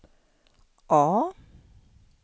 A